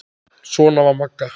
Svona var Magga.